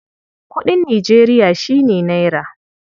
Kuɗin Nijeriya shi ne nera.